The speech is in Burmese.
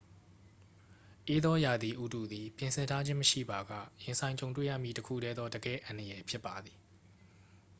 အေးသောရာသီဥတုသည် ပြင်ဆင်ထားခြင်းမရှိပါက ရင်ဆိုင်ကြုံတွေ့ရမည့် တစ်ခုတည်းသော တကယ့်အန္တရာယ်ဖြစ်ပါသည်